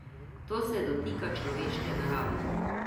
To se dotika človeške narave.